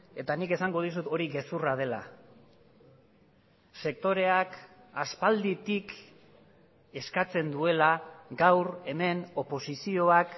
eta nik esango dizut hori gezurra dela sektoreak aspalditik eskatzen duela gaur hemen oposizioak